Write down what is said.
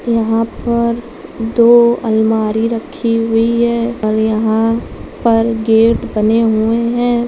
यहां पर दो आलमारी रखी हुई हैं और यहां पर गेट बने हुए हैं।